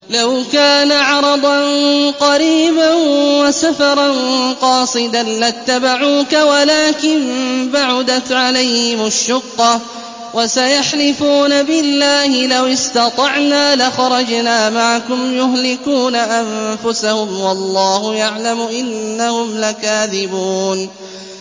لَوْ كَانَ عَرَضًا قَرِيبًا وَسَفَرًا قَاصِدًا لَّاتَّبَعُوكَ وَلَٰكِن بَعُدَتْ عَلَيْهِمُ الشُّقَّةُ ۚ وَسَيَحْلِفُونَ بِاللَّهِ لَوِ اسْتَطَعْنَا لَخَرَجْنَا مَعَكُمْ يُهْلِكُونَ أَنفُسَهُمْ وَاللَّهُ يَعْلَمُ إِنَّهُمْ لَكَاذِبُونَ